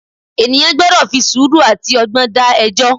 Ènìyàn gbọ́dọ̀ fi sùúrù àti ọgbọ́n dá ẹjọ́.